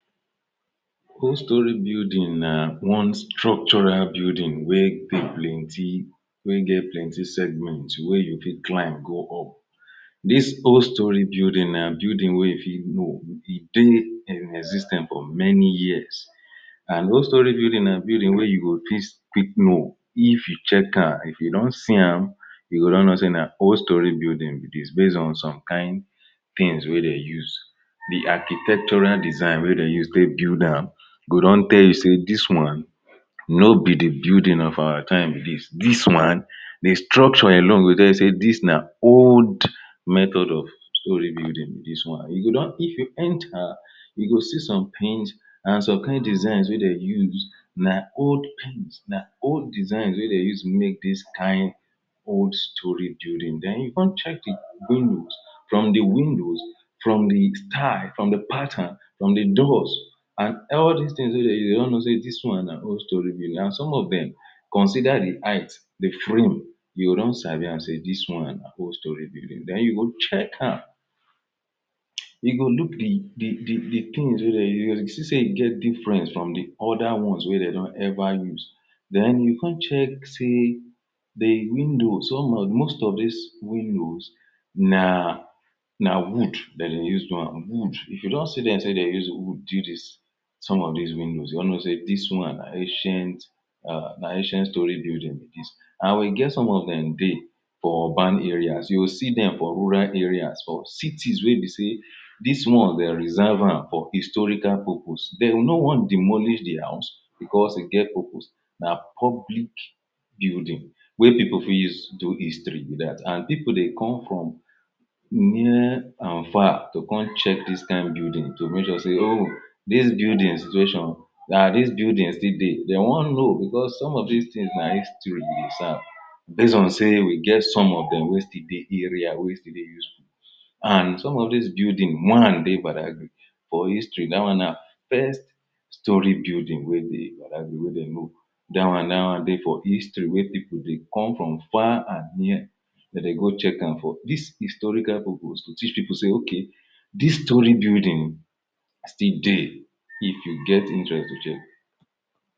old story building na one structural building wey dey plenty wey get plenty segment wey you fir climb go up dis old story building na building wey e fit go dey in exis ten ce for many years and old story building na building wey you go fit quick know if you check am, if you don see am you go don know sey na old story building be dis base on some kind things wey dey use the architectural design wey de use take build am go don tell you sey dis one no be the building of our time be dis one the structure alone go tell you sey dis na old method of story building be dis one if you enter you go see somethings na some kind designs wey de dey use na old, na old design wey de dey use made dis kind old story building den you come check windows from the windows from the style from the pattern from the doors and all dis things wey de dey do de don know this one na old story building and some of dem consider the height the floor you go don sabi yam sey dis one na old story building den you go check am you go look the things wey dey de use if you see sey e de difference from de other one's wey dey don ever use den you come check sey the windows most of dis windows na na wood de dey use do am, if you just see dem use wood do some of dis windows you don know sey dis one na ancient na ancient story building be dis and we get some of dem dey for urban areas you go see dem for rural areas for cities wey be sey dis one dey reserve am for historical purpose, de go no wan demolish the house because e get purpose na public building wey people fit use do history be dat and people dey come from near and far to come check dis kind building to make sure sey no dis building situation na dis building still de dey wan know because some of dis thing na history e serve base on sey we get some of dem wey still dey the area wey still and some of dis building one dey Badagry for history da one na first story building wey dey be dat wey de know da one-da one de for the history wey people dey come from far and near to dey go checkam for dis historical purpose to teach people sey ok the story building still dey if you get interest to check